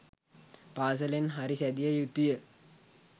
පාසලෙන් හරි සැදිය යුතුය